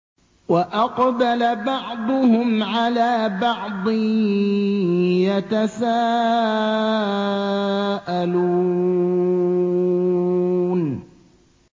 وَأَقْبَلَ بَعْضُهُمْ عَلَىٰ بَعْضٍ يَتَسَاءَلُونَ